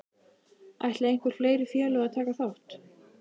Ætla einhver fleiri félög að taka þátt?